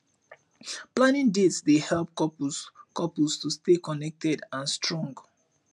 planning dates dey help couples couples to stay connected and strong